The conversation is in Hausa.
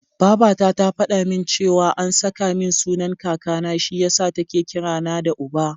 Babata ta faɗa min cewa an saka min sunan Kakana, shi yasa take kira na da Uba.